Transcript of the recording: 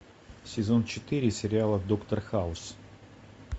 сезон четыре сериала доктор хаус